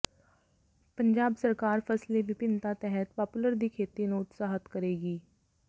ਪੰਜਾਬ ਸਰਕਾਰ ਫਸਲੀ ਵਿਭਿੰਨਤਾ ਤਹਿਤ ਪਾਪੂਲਰ ਦੀ ਖੇਤੀ ਨੂੰ ਉਤਸ਼ਾਹਿਤ ਕਰੇਗੀ